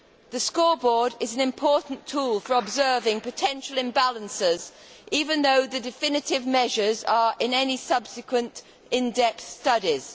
The scoreboard is an important tool for observing potential imbalances, even though the definitive measures are in any subsequent in depth studies.